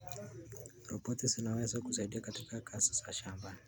Roboti zinaweza kusaidia katika kazi za shambani.